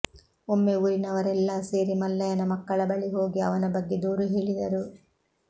ಒಮ್ಮೆ ಊರಿನವರೆಲ್ಲಾ ಸೇರಿ ಮಲ್ಲಯ್ಯನ ಮಕ್ಕಳ ಬಳಿ ಹೋಗಿ ಅವನ ಬಗ್ಗೆ ದೂರು ಹೇಳಿದರು